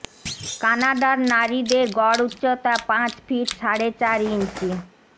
কানাডার নারীদের গড় উচ্চতা পাঁচ ফিট সাড়ে চার ইঞ্চি